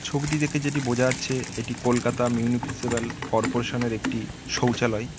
ছবিটি দেখে যেটি বোঝা যাচ্ছে এটা কলকাতা মিউপিসিপ্যাল কর্পোরেশন -এর একটি শৌচালায়--